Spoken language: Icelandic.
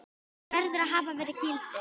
verður að hafa verið gildur.